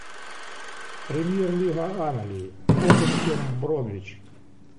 премьер лига англии тоттенхэм бромвич